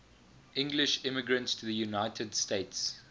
english immigrants to the united states